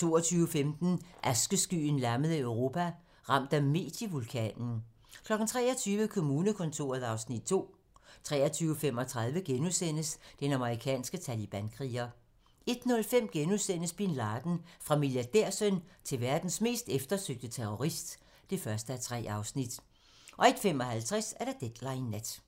22:15: Askeskyen lammede Europa - ramt af medievulkanen 23:00: Kommunekontoret (Afs. 2) 23:35: Den amerikanske talibankriger * 01:05: Bin Laden - Fra milliardærsøn til verdens mest eftersøgte terrorist (1:3)* 01:55: Deadline nat